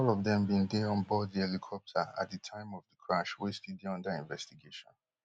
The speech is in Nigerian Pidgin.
all of dem bin dey onboard di helicopter at di time of di crash wey still dey under investigation